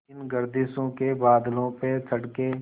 इन गर्दिशों के बादलों पे चढ़ के